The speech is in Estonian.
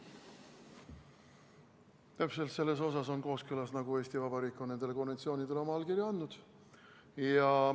Nad on täpselt selles osas kooskõlas, nagu Eesti Vabariik on nendele konventsioonidele oma allkirja andnud.